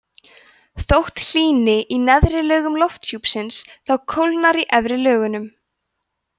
þótt hlýni í neðri lögum lofthjúpsins þá kólnar í efri lögunum